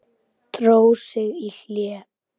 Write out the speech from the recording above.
Dró sig í hlé.